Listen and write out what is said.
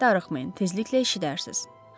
Darıxmayın, tezliklə eşidərsiz.